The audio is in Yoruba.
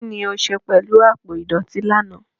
Kín ni o ṣe pẹ̀lú àpò ìdọ̀tí lánàá?